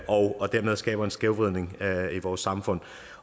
og dermed skaber en skævvridning i vores samfund